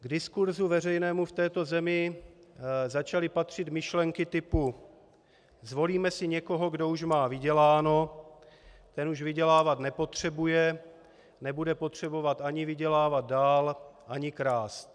K diskurzu veřejnému v této zemi začaly patřit myšlenky typu: zvolíme si někoho, kdo už má vyděláno, ten už vydělávat nepotřebuje, nebude potřebovat ani vydělávat dál ani krást.